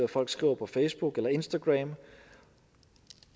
hvad folk skriver på facebook eller instagram